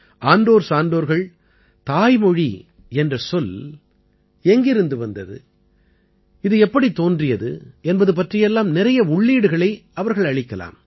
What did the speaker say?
ஆன்றோர் சான்றோர்கள் தாய்மொழி என்ற சொல் எங்கிருந்து வந்தது இது எப்படித் தோன்றியது என்பது பற்றியெல்லாம் நிறைய உள்ளீடுகளை அவர்கள் அளிக்கலாம்